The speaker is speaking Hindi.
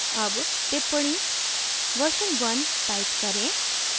अब टिप्पणी version one type करें